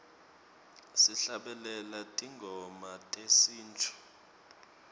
sihlabelela tingoma tesintfu